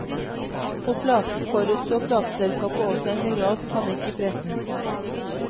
På platen forutså plateselskapet også en moralsk panikk i pressen.